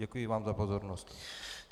Děkuji vám za pozornost.